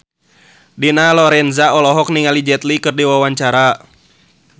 Dina Lorenza olohok ningali Jet Li keur diwawancara